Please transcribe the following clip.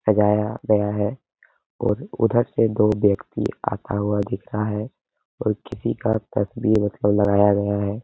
सजाया गया है और उधर से दो व्यक्ति आता हुआ दिख रहा है और किसी का मतलब लगाया गया है।